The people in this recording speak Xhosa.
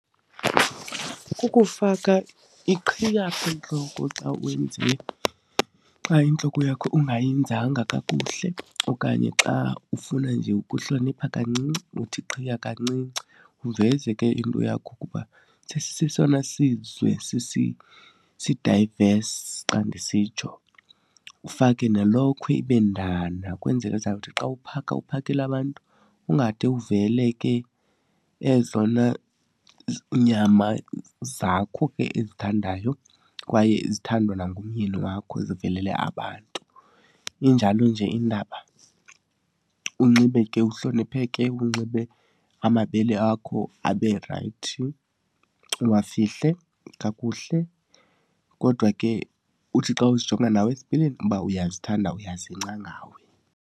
Kukufaka iqhiya entloko xa xa intloko yakho ungayenzanga kakuhle okanye xa ufuna nje ukuhlonipha kancinci, uthi iqhiya kancinci uveze ke into yakho kuba sesisesona sizwe sidayivesi xa ndisitsho. Ufake nelokhwe, ibe ndana kwenzeke uzawuthi xa uphaka uphakela abantu ungade uvele ke ezona nyama zakho ke ezithandayo kwaye ezithandwa nangumyeni wakho, zivelele abantu. Injalo nje indaba, unxibe ke uhlonipheke, unxibe amabele akho abe rayithi, uwafihle kakuhle. Kodwa ke uthi xa uzijonga nawe esipilini uba uyazithanda uyazingca ngawe.